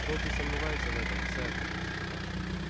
добби сомневается в этом сэр